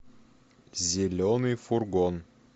зеленый фургон